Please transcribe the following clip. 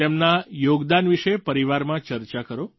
તેમના યોગદાન વિશે પરિવારમાં ચર્ચા કરો